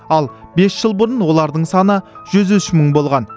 ал бес жыл бұрын олардың саны жүз үш мың болған